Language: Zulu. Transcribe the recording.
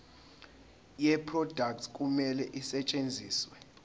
yeproduct kumele isetshenziswe